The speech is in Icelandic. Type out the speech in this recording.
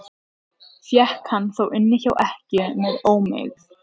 Fékk hann þá inni hjá ekkju með ómegð.